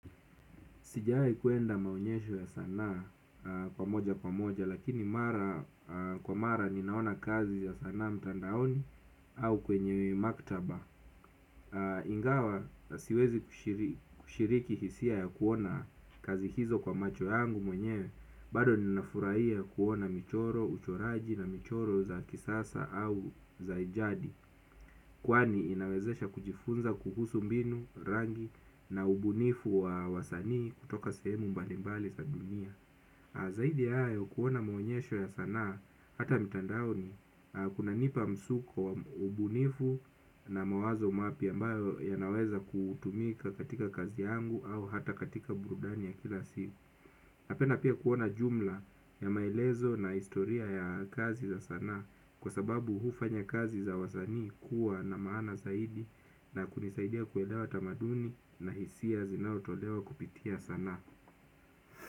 Sijaahi kwenda maonyesho ya sanaa kwa moja kwa moja lakini mara kwa mara ninaona kazi ya sanaa mtandaoni au kwenye maktaba. Ingawa siwezi kushiriki hisia ya kuona kazi hizo kwa macho yangu mwenyewe bado ninafuraia kuona michoro uchoraji na michoro za kisasa au za ijadi. Kwani inawezesha kujifunza kuhusu mbinu rangi na ubunifu wa wasanii kutoka sehemu mbalimbali za dunia. Zaidi ya hayo kuona maonyesho ya sanaa hata mtandaoni kunanipa msuko wa ubunifu na mawazo mapya ambayo yanaweza kutumika katika kazi yangu au hata katika burudani ya kila siku. Napenda pia kuona jumla ya maelezo na historia ya kazi za sanaa kwa sababu hufanya kazi za wasanii kuwa na maana zaidi na kunisaidia kuelewa tamaduni ha hisia zinaotolewa kupitia sanaa.